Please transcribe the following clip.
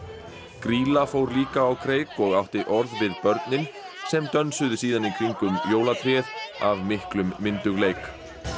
grýla fór líka á kreik og átti orð við börnin sem dönsuðu síðan í kringum jólatréð af miklum myndugleik